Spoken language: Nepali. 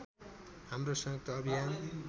हाम्रो संयुक्त अभियान